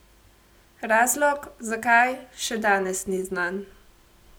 Razlog, zakaj, še danes ni znan.